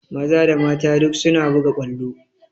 Maza da mata duk suna buga ƙwallo